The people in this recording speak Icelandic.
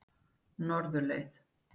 Norðurleið